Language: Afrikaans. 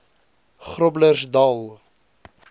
groblersdal